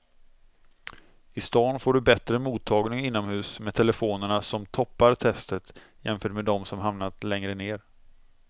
I stan får du bättre mottagning inomhus med telefonerna som toppar testet jämfört med de som hamnat längre ner.